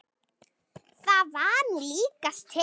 Það var nú líkast til.